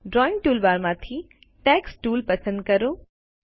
drawing ટૂલબારમાંથી text tool પસંદ કરો